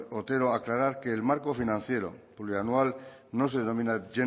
otero aclarar que el marco financiero plurianual no se denomina